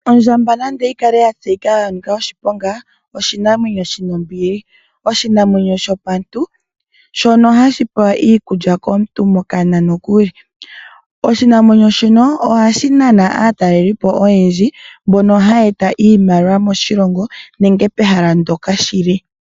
Ondjamba nande oyi kale yatseyika kutya oya nika oshiponga, oyili oshinamwenyo shina ombili ano shono shopantu hashi vulu okupeya iikulya kaantu ano kokana nokuli. Ondjamba ohayi nana aataleliipo oyindji mbono haya eta iimaliwa moshilongo shetu nenge pehala mpoka yili.